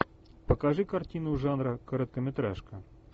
покажи картину жанра короткометражка